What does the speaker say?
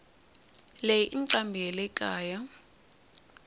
leyi incambi yalekaya